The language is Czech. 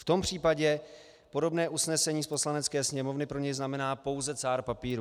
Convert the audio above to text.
V tom případě podobné usnesení z Poslanecké sněmovny pro něj znamená pouze cár papíru.